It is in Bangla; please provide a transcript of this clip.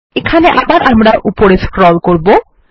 এখানে আবার আমরা উপরে স্ক্রল করবো